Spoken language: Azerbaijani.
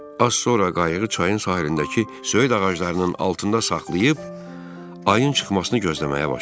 Az sonra qayığı çayın sahilindəki söyüd ağaclarının altında saxlayıb ayın çıxmasını gözləməyə başladım.